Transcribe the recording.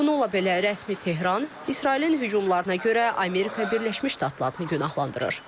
Bununla belə rəsmi Tehran İsrailin hücumlarına görə Amerika Birləşmiş Ştatlarını günahlandırır.